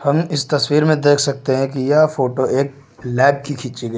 हम इस तस्वीर में देख सकते हैं कि यह फोटो एक लैब की खींची गई--